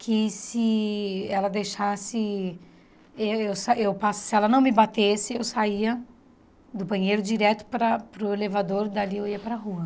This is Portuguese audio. que se ela deixasse eu sa eu pa... Se ela não me batesse, eu saía do banheiro direto para para o elevador, dali eu ia para rua.